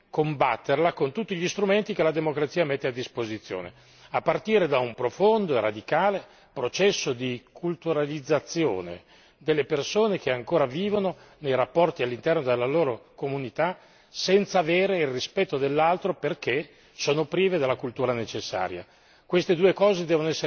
allora bisogna combatterla con tutti gli strumenti che la democrazia mette a disposizione, a partire da un profondo e radicale processo di culturalizzazione delle persone che ancora vivono nei rapporti all'interno della loro comunità senza avere il rispetto dell'altro perché sono prive della cultura necessaria.